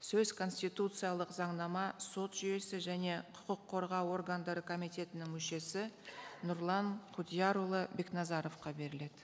сөз конституциялық заңнама сот жүйесі және құқық қорғау органдары комитетінің мүшесі нұрлан құдиярұлы бекназаровқа беріледі